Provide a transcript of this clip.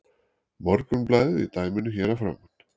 Morgunblaðið í dæminu hér að framan.